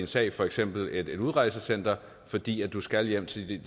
sag for eksempel i et udrejsecenter fordi man skal hjem til